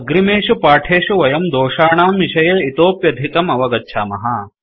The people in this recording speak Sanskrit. अग्रिमेषु पाठेषु वयं दोषानां विषये इतोप्यधिकं अवगच्छामः